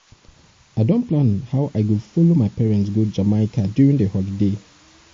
i don plan how i go follow my parents go jamaica during the holiday